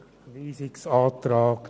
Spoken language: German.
– Dies ist nicht der Fall.